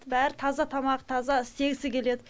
бәрі таза тамақ таза істегісі келеді